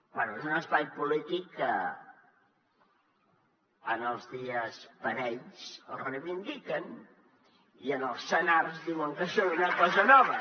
bé és un espai polític que en els dies parells el reivindiquen i en el senars diuen que són una cosa nova